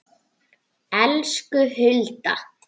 Elsku Hulda.